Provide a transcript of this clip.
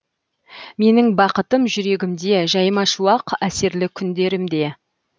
менің бақытым жүрегімде жаймашуақ әсерлі күндерімде